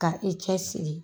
Ka i cɛsiri